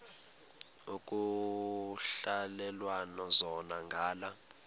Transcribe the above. ekuhhalelwana zona ngala